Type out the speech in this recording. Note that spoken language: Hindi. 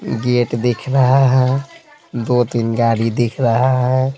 गेट दिख रहा है दो-तीन गाड़ी दिख रहा है।